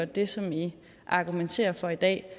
det som i argumenterer for i dag